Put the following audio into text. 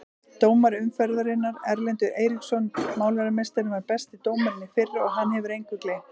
Dómari umferðarinnar: Erlendur Eiríksson Málarameistarinn var besti dómarinn í fyrra og hann hefur engu gleymt.